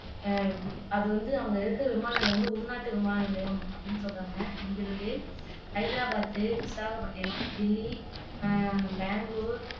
அஹ் அது வந்து அங்க இருக்கிற விமான நிலையம் அப்படின்னு சொல்றாங்க இங்கிருந்து ஹைதராபாத், விசாகப்பட்டினம், டெல்லி, பெங்களூர்